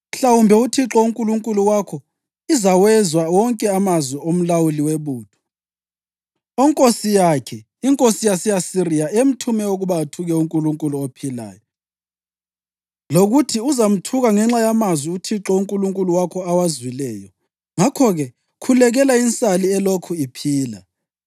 Mhlawumbe uThixo uNkulunkulu wakho izawezwa wonke amazwi omlawuli webutho, onkosi yakhe, inkosi yase-Asiriya, emthume ukuba athuke uNkulunkulu ophilayo, lokuthi uzamthuka ngenxa yamazwi uThixo uNkulunkulu wakho awazwileyo. Ngakho-ke khulekela insali elokhu iphila.”